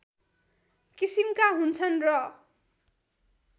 किसिमका हुन्छन् र